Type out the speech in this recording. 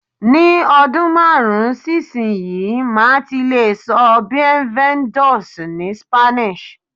Ni ọdún márùn-ún sí ìsinyìí, màá ti lè sọ "Bienvenidos" ni Spanish